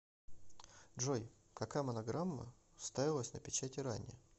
джой какая монограмма ставилась на печати ранее